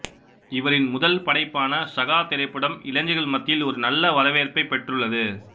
இவரின் முதல் படைப்பான சகா திரைப்படம் இளைஞர்கள் மத்தியில் ஒரு நல்ல வரவேற்பை பெற்றுள்ளது